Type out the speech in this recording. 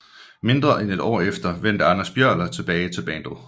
Mindre end et år efter vendte Anders Björler tilbage til bandet